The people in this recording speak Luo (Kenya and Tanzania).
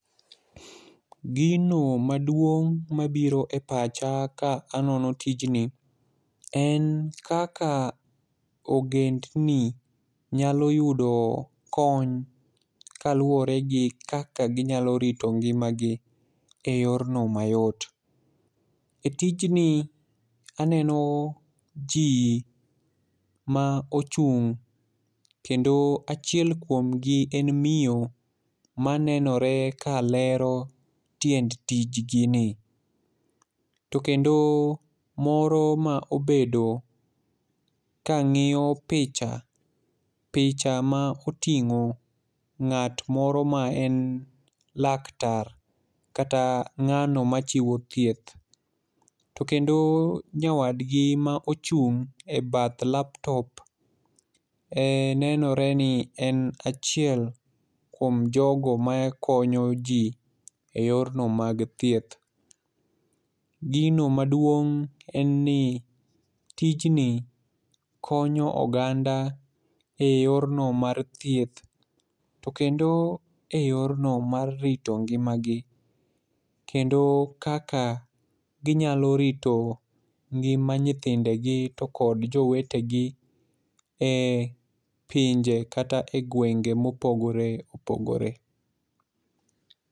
Gino maduong' mabiro e pacha ka anono tijni, en kaka ogendni nyalo yudo kony kaluwore gi kaka ginyalo rito ngimagi e yorno mayot. E tijni aneno ji ma ochung', kendo achiel kuomgi en miyo ma nenore ka lero tiend tijgini. To kendo moro ma obedo ka ng'iyo picha, picha ma oting'o, ng'at moro ma en laktar, kata ng'ano machiwo thieth. To kendo nyawadgi ma ochung' e bath laptop, en nenore ni en achiel kuom jogo ma konyo ji e yorno mag hieth. Gino maduong' en ni tijni konyo oganda e yorno mar thieth. To kendo e yorno mar rito ngimagi. Kendo kaka ginyalo rito ngima nyithindegi to kod jowetegi e pinje kata e gwenge mopogore opogore.